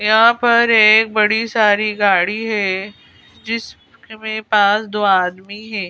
यहां पर एक बड़ी सारी गाड़ी है जिस में पास दो आदमी है।